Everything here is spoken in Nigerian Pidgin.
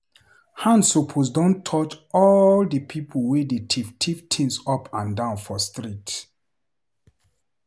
Hand suppose don touch all di pipo wey dey tiff tiff things up and down for street.